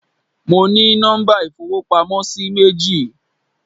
Mo ní nọ́mbà ìfowópamósí méjì